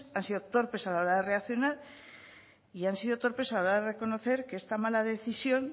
han sido torpes a la hora de reaccionar y han sido torpes a la hora de reconocer que esta mala decisión